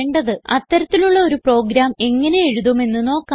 അത്തരത്തിലുള്ള ഒരു പ്രോഗ്രാം എങ്ങനെ എഴുതുമെന്നു നോക്കാം